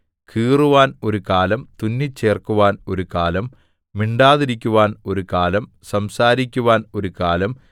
കീറുവാൻ ഒരു കാലം തുന്നിച്ചേർക്കുവാൻ ഒരു കാലം മിണ്ടാതിരിക്കുവാൻ ഒരു കാലം സംസാരിക്കുവാൻ ഒരു കാലം